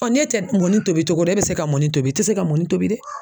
ne tɛ mɔni tobi togo don e bɛ se ka mɔni tobi i tɛ se ka mɔni tobi dɛ.